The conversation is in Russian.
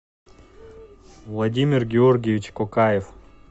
владимир георгиевич кокаев